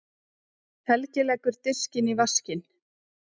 Helgi leggur diskinn í vaskinn.